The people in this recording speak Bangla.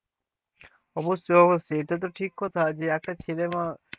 অবশ্যই অবশ্যই এটা একটা ঠিক কথা একটা ছেলে বা,